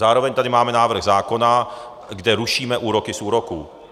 Zároveň tady máme návrh zákona, kde rušíme úroky z úroků.